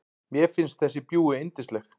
Mér finnst þessi bjúgu yndisleg.